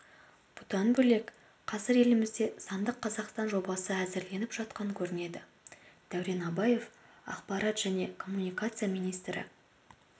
бұдан бөлек қазір елімізде сандық қазақстан жобасы әзірленіп жатқан көрінеді дәурен абаев ақпарат және коммуникациялар министрі